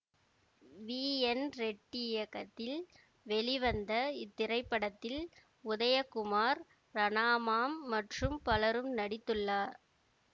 we N Reddy இயக்கத்தில் வெளிவந்த இத்திரைப்படத்தில் உதயகுமார் ரணாமாம் மற்றும் பலரும் நடித்துள்ளார்